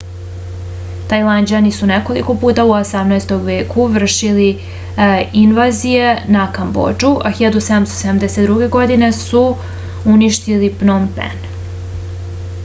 tajlanđani su nekoliko puta u 18. veku vršili invazije na kambodžu a 1772. godine su uništili pnom pen